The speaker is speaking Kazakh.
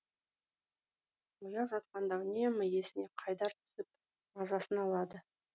ояу жатқанда үнемі есіне қайдар түсіп мазасын алады